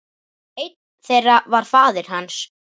Einn þeirra var faðir hans.